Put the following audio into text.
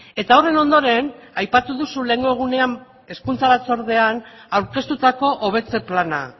eta horren ondoren aipatu duzu lehengo egunean hezkuntza batzordean aurkeztutako hobetze plana